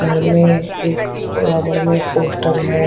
घर में एक बराबर में पोस्टर है।